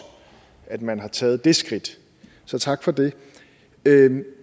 at man har taget det skridt så tak for det